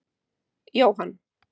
Jóhann